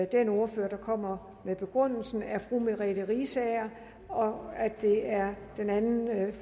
den ordfører der kommer med begrundelsen er fru merete riisager og at det er den anden